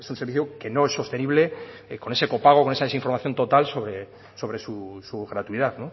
servicio que no es sostenible con ese copago con esa desinformación total sobre su gratuidad